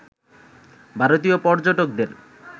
ভারতীয় পর্যটকদের